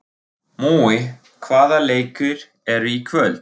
Mói, hvaða leikir eru í kvöld?